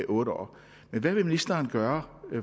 otte år hvad vil ministeren gøre